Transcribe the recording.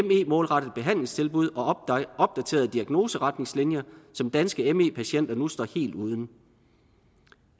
målrettet behandlingstilbud og opdaterede diagnoseretningslinjer som danske me patienter nu står helt uden